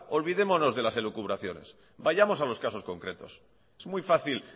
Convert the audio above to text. olvidémonos de las elucubraciones vayamos a los casos concretos es muy fácil